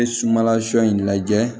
N ye sumanla sɔ in lajɛ